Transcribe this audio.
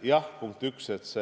Jah, punkt 1: